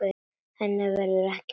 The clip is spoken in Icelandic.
Henni verður ekki breytt.